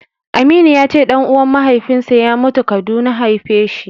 Aminu ya ce ɗan'uwan mahaifinsa ya mutu Kaduna haifeshi.